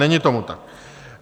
Není tomu tak.